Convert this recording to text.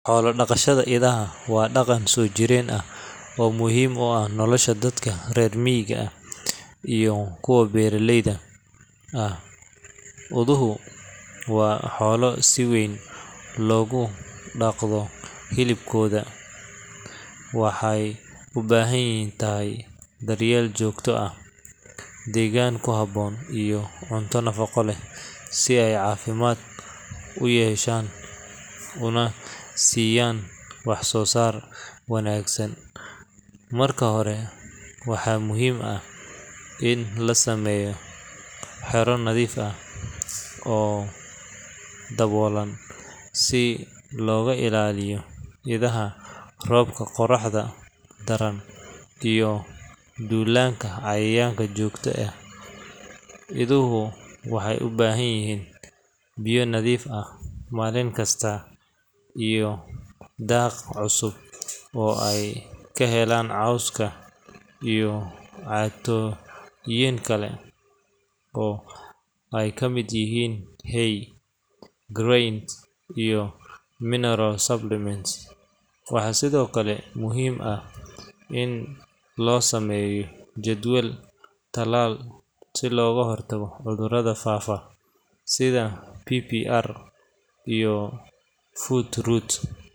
Xoolo-dhaqashada idaha waa dhaqan soo jireen ah oo muhiim u ah nolosha dadka reer miyiga ah iyo kuwa beeraleyda ah. Iduhu waa xoolo si weyn loogu dhaqdo hilibkooda, caanahooda, iyo dhogortooda, gaar ahaan meelaha ay cimiladu u oggol tahay. Dhaqashada iduhu waxay u baahan tahay daryeel joogto ah, degaan ku habboon, iyo cunto nafaqo leh si ay caafimaad u yeeshaan una siiyaan wax-soo-saar wanaagsan. Marka hore, waxaa muhiim ah in la sameeyo xero nadiif ah oo daboolan si looga ilaaliyo idaha roobka, qorraxda daran, iyo duulaanka xayawaanka duurjoogta ah. Iduhu waxay u baahan yihiin biyo nadiif ah maalin kasta iyo daaq cusub oo ay ka helaan cawska iyo cuntooyin kale oo ay ka mid yihiin hay, grains, iyo mineral supplements. Waxaa sidoo kale muhiim ah in loo sameeyo jadwal tallaal si looga hortago cudurrada faafa sida PPR iyo foot rot.